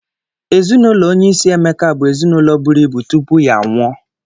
Ezinụlọ onye isi Emeka bụ ezinụlọ buru ibu tupu ya anwụọ.